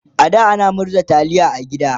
a da ana murza taliya a gida